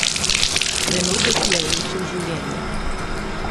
Trenutek, ki je uničil življenje.